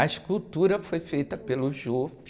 A escultura foi feita pelo.